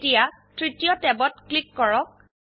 এতিয়াতৃতীয় ট্যাবত ক্লিক কৰক